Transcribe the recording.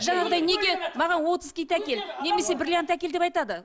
жаңағыдай неге маған отыз киіт әкел немесе бриллиант әкел деп айтады